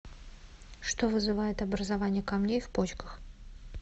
что вызывает образование камней в почках